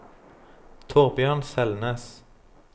Thorbjørn Selnes